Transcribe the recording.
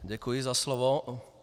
Děkuji za slovo.